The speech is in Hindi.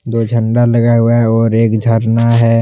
दो झंडा लगा हुआ है और एक झरना है।